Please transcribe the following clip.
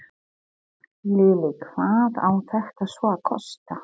Lillý, hvað á þetta svo að kosta?